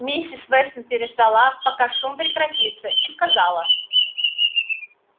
миссис вестон переждала пока шум прекратится и сказала